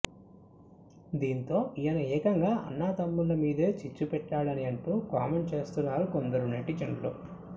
దీంతో ఈయన ఏకంగా అన్నా తమ్ముళ్ళ మీదే చిచ్చు పెట్టాడని అంటూ కామెంట్ చేస్తున్నారు కొందరు నెటిజన్లు